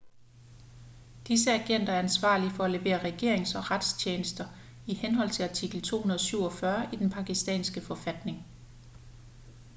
disse agenter er ansvarlige for at levere regerings- og retstjenester i henhold til artikel 247 i den pakistanske forfatning